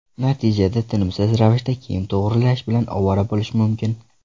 Natijada tinimsiz ravishda kiyim to‘g‘rilash bilan ovora bo‘lish mumkin.